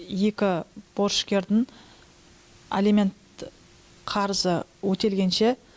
екі борышкердің алимент қарызы өтелгенше